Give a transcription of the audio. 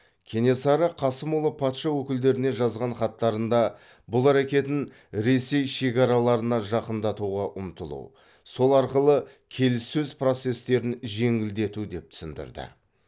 кенесары қасымұлы патша өкілдеріне жазған хаттарында бұл әрекетін ресей шекараларына жақындатуға ұмтылу сол арқылы келіссөз процестерін жеңілдету деп түсіндірді